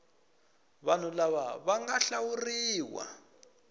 vanhu lava va nga hlawuriwa